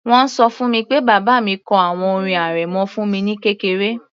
Wọ́n ṣọ fún mi pé bàbá mi kọ àwọn orin arẹmọ fún mi ní kékeré